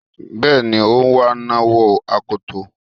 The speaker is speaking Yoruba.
Bẹ́ẹ̀ni, òǹwà náà wọ akoto.